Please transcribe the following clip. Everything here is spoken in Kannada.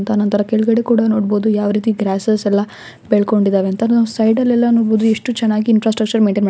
ಆನಂತರ ಕೆಳಗಡೆ ಕೂಡ ನೋಡಬಹುದು ಯಾವ ರೀತಿ ಗ್ರಾಸಸ್ ಎಲ್ಲಾ ಬೆಳಕೊಂಡಿದ್ದಾವೆ ಅಂತ ನಾವ್ ಸೈಡ ಲ್ಲೆಲ್ಲ ನೋಡಬಹುದು ಎಷ್ಟು ಚೆನ್ನಾಗಿ ಇಂಟ್ರಾಸ್ಟ್ರಶನ್ ಮೇನಟೈನ್ ಮಾಡಿ --